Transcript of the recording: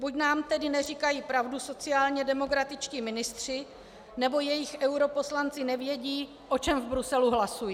Buď nám tedy neříkají pravdu sociálně demokratičtí ministři, nebo jejich europoslanci nevědí, o čem v Bruselu hlasují.